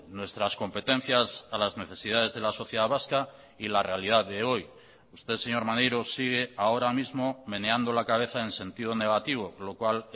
nuestras competencias a las necesidades de la sociedad vasca y la realidad de hoy usted señor maneiro sigue ahora mismo meneando la cabeza en sentido negativo lo cual